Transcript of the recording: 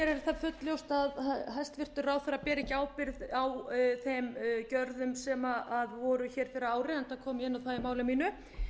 fullljóst að hæstvirtur ráðherra ber ekki ábyrgð á þeim gjörðum sem voru hér fyrir ári enda kom það fram í máli mínu